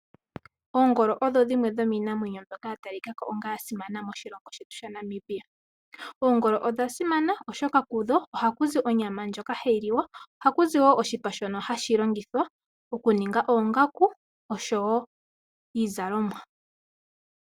Oongolo odho dhimwe dhomiinamwenyo mbyoka ya talikako onga yasimana moshilongo shetu dhaNamibia. Oongolo odha simana oshoka kudho ohaku zi onyama ndjoka hayi liwa, ohaku zi wo oshipa shono hashi longithwa okuninga oongaku osho wo iizalomwa.